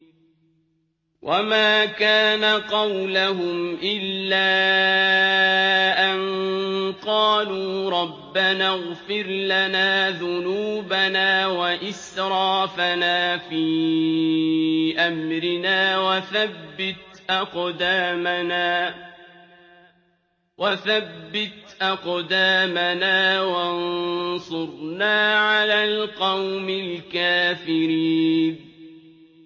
وَمَا كَانَ قَوْلَهُمْ إِلَّا أَن قَالُوا رَبَّنَا اغْفِرْ لَنَا ذُنُوبَنَا وَإِسْرَافَنَا فِي أَمْرِنَا وَثَبِّتْ أَقْدَامَنَا وَانصُرْنَا عَلَى الْقَوْمِ الْكَافِرِينَ